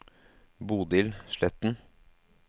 Bodil Sletten